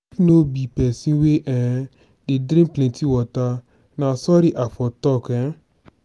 no be pesin wey um dey drink plenty water na sorry i fo talk. um